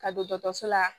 Ka don dɔgɔtɔrɔso la